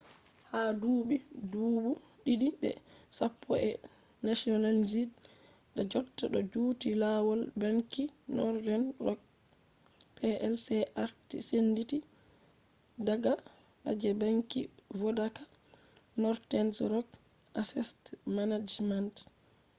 ha dubi dubu didi be sappo be nationalized da jotta do juti lawal banki northern rock plc arti senditi daga je ‘banki vodaka ‘ northern rock assest management